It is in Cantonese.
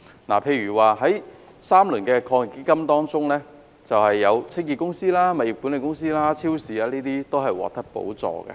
例如，在3輪基金中，清潔公司、物業管理公司及超市等均獲得補助。